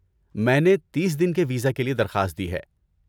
میں نے تیس دن کے ویزا کے لیے درخواست دی ہے۔